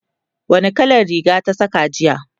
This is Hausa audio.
wani kalan Riga ta Saka jiya?